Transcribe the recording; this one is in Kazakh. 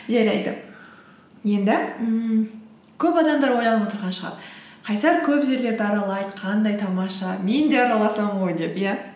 жарайды енді ммм көп адамдар ойланып отырған шығар қайсар көп жерлерді аралайды қандай тамаша мен де араласам ғой деп иә